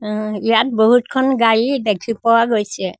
উম ইয়াত বহুতখন গাড়ী দেখি পোৱা গৈছে।